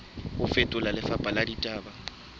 ho fetola lefapha la ditaba